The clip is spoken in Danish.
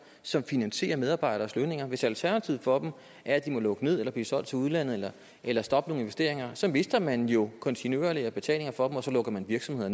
som finansierer medarbejderes lønninger hvis alternativet for dem er at de må lukke ned eller blive solgt til udlandet eller stoppe nogle investeringer så mister man jo kontinuerligt betalinger fra dem og så lukker man virksomheder